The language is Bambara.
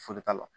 Foyi t'a la